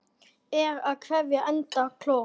Er á keðju enda kló.